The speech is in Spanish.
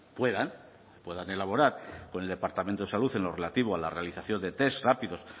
puedan puedan elaborar con el departamento de salud en lo relativo a la realización de test rápidos